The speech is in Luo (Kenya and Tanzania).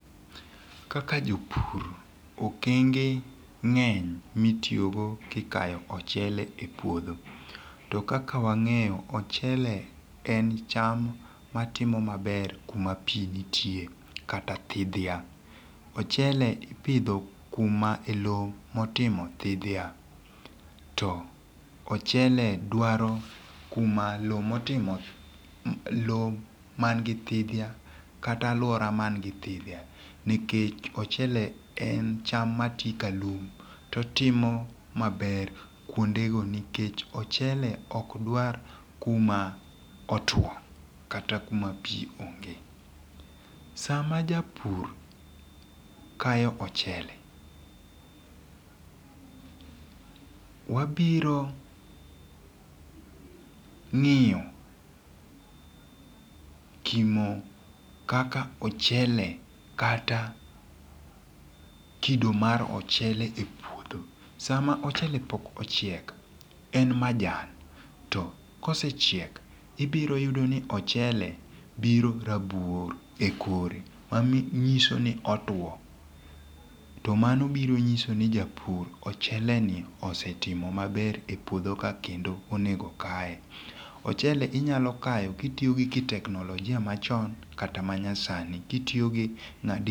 Kaka jopur, okenge ngeny mitiyo go kikayo ochele e puodho. To kaka wang'eyo, ochele en cham matimo maber kuma pii nitie kata thidhia. Ochele ipidho kuma e loo motimo thidhia. To ochele dwaro kuma loo motimo loo man gi thidhia kata alwora man gi thidhia nikech ochele en cham matii ka lum totimo maber kuonde go nikech ochele okdwar kuma otwo kata kuma pii onge. Sama japur kayo ochele, wabiro ng'iyo kimo kaka ochele kata kido mar ochele e puodho. Sama ochele pok ochiek, en majan, to kosechiek, ibiro yudo ni ochele biro rabuor e kore, manyiso ni otwoo. To mano biro nyiso ni japur ochele ni osetimo maber e puodho ka kendo onego kaye. Ochele inyalo kayo kitiyo gi teknolojia machon kata manyasani. Kitiyo gi